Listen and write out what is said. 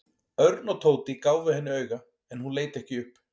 Örn og Tóti gáfu henni auga en hún leit ekki upp.